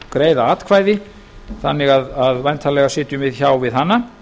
greiða atkvæði um þannig að væntanlega sitjum við hjá við hana